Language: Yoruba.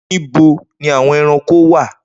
Nibo ni awọn ẹranko wa?